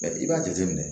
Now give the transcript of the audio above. i b'a jateminɛ